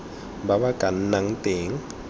ba ba ka nnang teng